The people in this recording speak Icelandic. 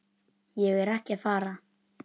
Ég er ekki að fara.